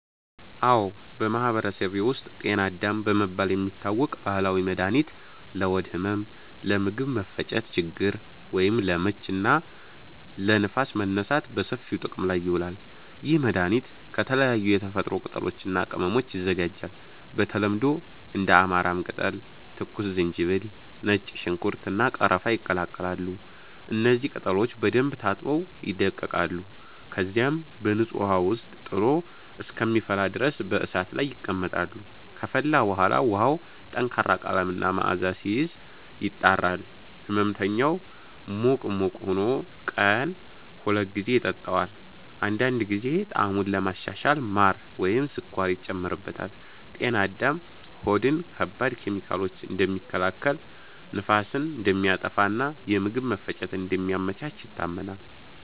አዎ፣ በማህበረሰቤ ውስጥ “ጤና አዳም” በመባል የሚታወቅ ባህላዊ መድኃኒት ለሆድ ህመም፣ ለምግብ መፈጨት ችግር (ለምች) እና ለንፋስ መነሳት በሰፊው ጥቅም ላይ ይውላል። ይህ መድኃኒት ከተለያዩ የተፈጥሮ ቅጠሎች እና ቅመሞች ይዘጋጃል። በተለምዶ እንደ አማራም ቅጠል፣ ትኩስ ዝንጅብል፣ ነጭ ሽንኩርት፣ እና ቀረፋ ይቀላቀላሉ። እነዚህ ቅጠሎች በደንብ ታጥበው ይደቀቃሉ፣ ከዚያም በንጹህ ውሃ ውስጥ ጥሎ እስከሚፈላ ድረስ በእሳት ላይ ይቀመጣሉ። ከፈላ በኋላ ውሃው ጠንካራ ቀለም እና መዓዛ ሲይዝ፣ ይጣራል። ሕመምተኛው ሙቅ ሙቅ ሆኖ ቀን ሁለት ጊዜ ይጠጣዋል። አንዳንድ ጊዜ ጣዕሙን ለማሻሻል ማር ወይም ስኳር ይጨመርበታል። “ጤና አዳም” ሆድን ከባድ ኬሚካሎች እንደሚከላከል፣ ንፋስን እንደሚያጠፋ እና የምግብ መፈጨትን እንደሚያመቻች ይታመናል።